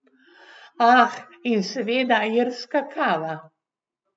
Ah, in seveda irska kava!